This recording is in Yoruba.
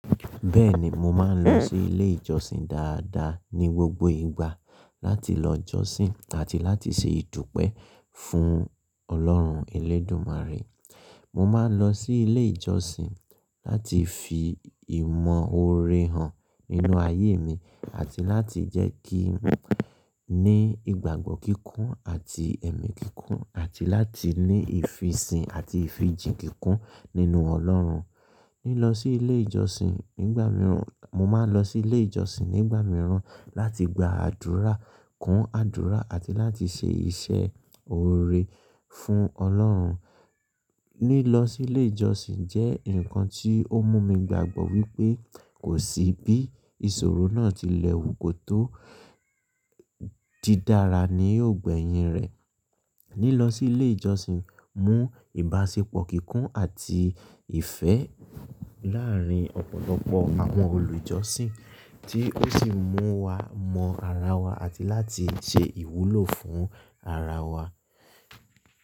Bẹ́ẹ̀ni, mo máa ń lọ sí ilé ìjọsìn dáadáa ní gbogbo ìgbà láti lọ jọ́sìn àti láti ṣe ìdúpẹ́ fún Ọlọ́run Elédùmarè. Mo máa ń lọ sí ilé ìjọsìn láti fi ìmọ̀ oore hàn nínú ayé mi àti láti jẹ́ kí n ní ìgbàgbọ́ kíkún àti ẹ̀mí kíkún àti láti ní ìfisìn àti ìfijìń kikun nínú Ọlọ́run. Lílọ sí ilé ìjọsìn nígbà mìíràn, mo máa ń lọ sí ilé ìjọsìn nígbà mìíràn láti gba àdúrà, kún àdúrà àti láti ṣe iṣẹ́ oore fún Ọlọ́run. Lílọ sí ilé ìjọsìn jẹ́ nǹkan tí ó mú mi gbàgbọ́ wípé kò sí bí ìṣòro náà ti lẹ́wù kó tó dídara ní yoò gbẹ́yìn rẹ̀. Lílọ sí ilé ìjọsìn mú ìbáṣepọ̀ kíkún àti ìfẹ́ láàárín ọ̀pọ̀lọpọ̀ àwọn olùjọ́sìn tí ó sì mú wa mọ ara wa àti láti ṣe ìwúlò fún ara wa.